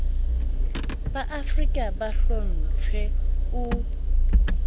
ba seafrika bo hlomptjhwe o